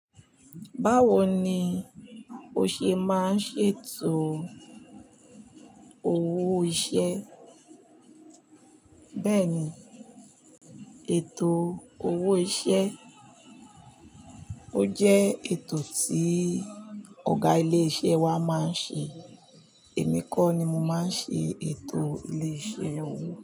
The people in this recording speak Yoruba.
Báwo ni o ṣe máa ń ṣe ètò owó iṣẹ́? Bẹ́ẹ̀ ni, ètò owó iṣẹ́, ó jẹ́ ètò tí ọ̀gá ilé iṣẹ́ wa máa ń ṣe. Èmi kọ́ ni mo máa ń ṣe ètò ilé iṣẹ́ owó.